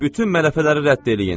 Bütün mələfələri rədd eləyin.